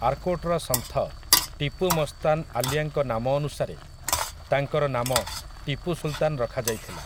ଆର୍କୋଟର ସନ୍ଥ, ଟିପୁ ମସ୍ତାନ ଆଲିଆଙ୍କ ନାମ ଅନୁସାରେ, ତାଙ୍କର ନାମ ଟିପୁ ସୁଲତାନ ରଖାଯାଇଥିଲା ।